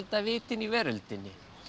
vitinu í veröldinni